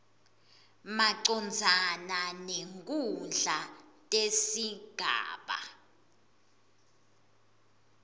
macondzana netikhundla tesigaba